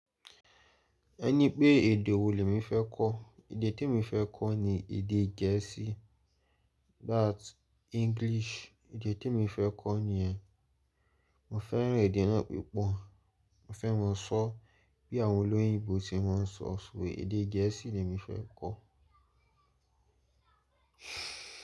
Ẹ ní pé èdè wo ni mí fẹ́ kọ́? Èdè tí mo fẹ́ kọ́ ni èdè gẹ̀ẹ́sì. That English èdè tí mo fẹ́ kọ́ nìyẹn. Mo fẹ́ràn èdè náà púpọ̀. Mo fẹ́ máa sọ bí àwọn olóyìnbo ṣe máa ń sọ ọ́. Ṣé èdè gẹ̀ẹ́sì ni mí fẹ́ kọ́?